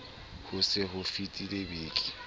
ho se ho fetile beke